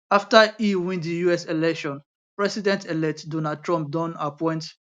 afta e win di us election presidentelect donald trump don appoint